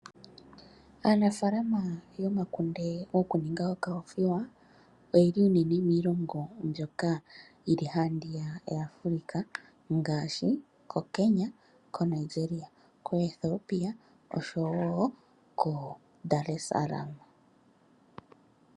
Aanafaalama yomakunde gokuninga okoothiwa oye li unene miilongo mbyoka yi li haandiyaka yaAfrika ngaashi koKenya, Nigeria, Ethiopia oshowo koDaar Es Salam.